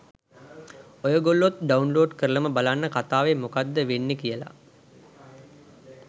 ඔයගොල්ලොත් download කරලම බලන්න කතාවේ මොකක්ද වෙන්නේ කියලා.